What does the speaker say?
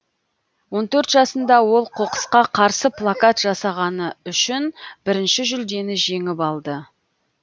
он төрт жасында ол қоқысқа қарсы плакат жасағаны үшін бірінші жүлдені жеңіп алды